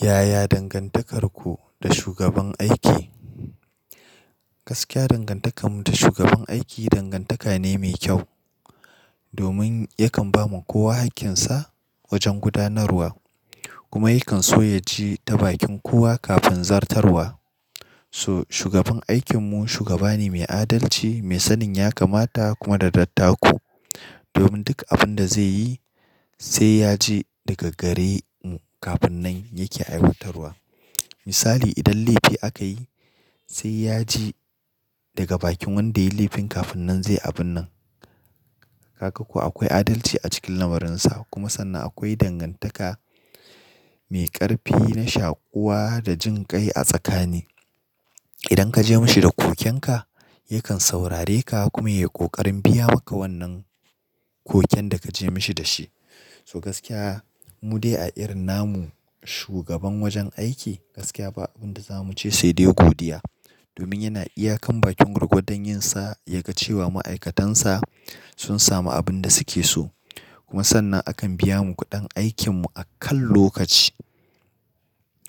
Yaya dangantakarku da shugaban aiki? Gaskiya dangantakarmu da shugaban aiki dangantaka ne mai kyau. Domin yakan ba ma kowa hakkin sa wajen gudanarwa kuma yakan so ya ji ta bakin kowa kafin zartarwa. So shugaban aikinmu shugaba ne mai adalci, mai sanin ya kamata kuma da dattako. Domin duk abin da zai yi sai ya ji daga gare kafin nan yake aiwatarwa. Misali idan laifi aka yi sai ya ji daga bakin wanda yayi laifin kafin nan zai abun nan. Ka ga ko akwai adalci a cikin lamurinsa kuma sannan akwai dangantaka mai ƙarfi na shakuwa da jin kai a tsakani. Idan ka je mashi da kokenka yakan saurare ka kuma ya ƙoƙarin biya maka wannan koken da ka je mashi da shi. So gaskiya mu dai a irin namu shugaban wajen aiki gaskiya ba abin da zamu ce sai dai godiya. Domin yana iyakan bakin ruƙo don yin sa ya ga cewa ma'aikatansa sun samu abin da suke so. Kuma sannan akan biya mu kuɗin aikinmu a kan lokaci,